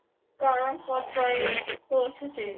কারণ পর্যায়ে পৌঁছেছে।